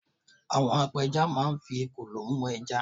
àwọn apẹja ma n fi ekòló mu eja